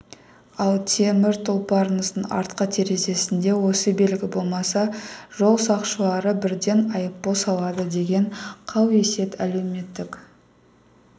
ал темір тұлпарыңыздың артқы терезесінде осы белгі болмаса жол сақшылары бірден айыппұл салады деген қауесет әлеуметтік